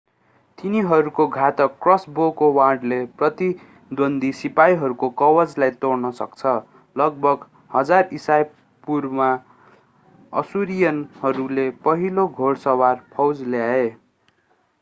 तिनीहरूको घातक क्रसबोको वाणले प्रतिद्वन्द्वी सिपाहीहरूको कवचलाई छेड्न सक्छ लगभग 1000 ईशापूर्वमा अश्शूरियनहरूले पहिलो घोडसवार फौज ल्याए